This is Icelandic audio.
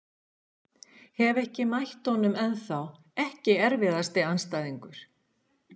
Hef ekki mætt honum ennþá Ekki erfiðasti andstæðingur?